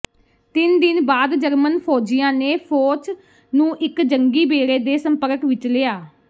ਤਿੰਨ ਦਿਨ ਬਾਅਦ ਜਰਮਨ ਫ਼ੌਜੀਆਂ ਨੇ ਫੌਚ ਨੂੰ ਇੱਕ ਜੰਗੀ ਬੇੜੇ ਦੇ ਸੰਪਰਕ ਵਿੱਚ ਲਿਆ